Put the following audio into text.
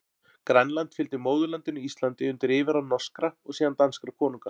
Grænland fylgdi móðurlandinu Íslandi undir yfirráð norskra, og síðan danskra konunga.